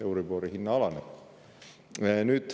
Euribori hinne alaneb.